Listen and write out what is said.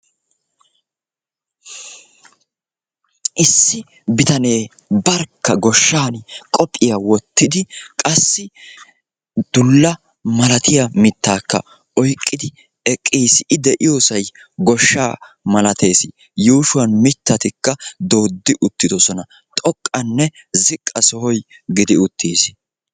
issi bittane barkka goshani qophiya wottidi dullakka oyqidi eqqissi a yuushuwanika dozzati doodidossona.